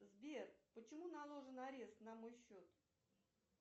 сбер почему наложен арест на мой счет